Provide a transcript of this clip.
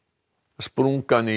sprungan í